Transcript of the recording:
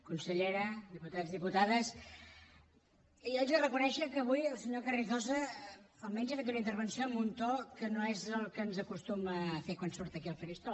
consellera diputats diputades jo haig de reconèixer que avui el senyor carrizosa almenys ha fet una intervenció amb un to que no és el que ens acostuma a fer quan surt aquí al faristol